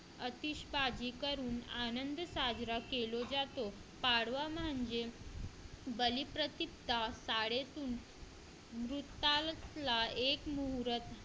आतिश भाजी करून आनंद साजरा केला जातो पाडवा म्हणजे बलिप्रति प्रथा एक मोहरत